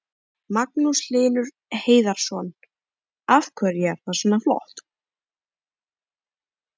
Magnús Hlynur Hreiðarsson: Af hverju er það svona flott?